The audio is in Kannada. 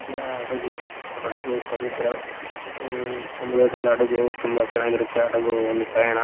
ಇದ್ಯಾ ಹಡಗು ಹಡಗು ಸಮುದ್ರ ಅಹ್ ಸಮುದ್ರದಲ್ಲಿ ಹಡಗು ತುಂಬಾ ಚನ್ನಗಿರುತ್ತೆ ಹಡಗು ಒಂದು ಪಯಣ.